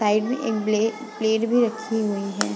Side पे एक ब्ले प्लेट भी रखी हुई है।